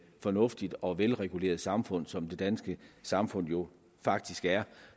fornuftigt og velreguleret samfund som det danske samfund jo faktisk er